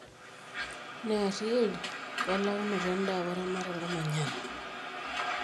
neer yield, we launoto eda weramatare olmanyara